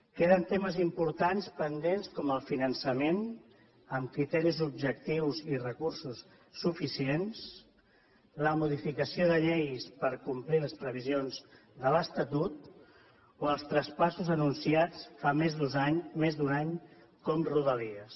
queden temes importants pendents com el finançament amb criteris objectius i recursos suficients la modificació de lleis per complir les previsions de l’estatut o els traspassos anunciats fa més d’un any com rodalies